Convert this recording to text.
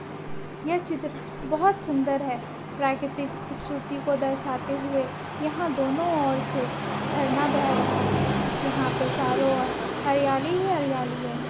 यह चित्र बहुत सुन्दर हे प्रकतिक खूबसुरति को दरसाते हुए यहाँ दोनों और से झरना बह रहा हे यहाँ पर चारो और हरियाली ही हरियाली हे।